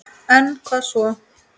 En hvað svo??